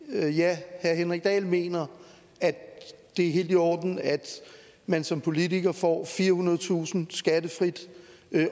ja ja herre henrik dahl mener at det er helt i orden at man som politiker får firehundredetusind skattefrit